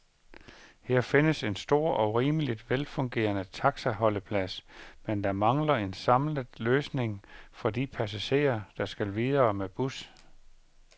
Her findes en stor og rimeligt velfungerende taxaholdeplads, men der mangler en samlet løsmimg for de passagerer, der skal videre med bus.